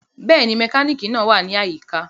Bẹ́ẹ̀ni, mekaniki naa wa ni ayika.